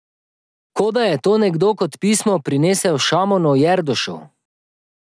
Kot da je to nekdo kot pismo prinesel Šamonu Jerdušu.